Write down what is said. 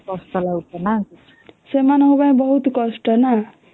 ସେମାଙ୍କ ପାଇଁ ବହୁତ କଷ୍ଟ ନା